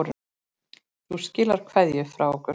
Þú skilar kveðju frá okkur.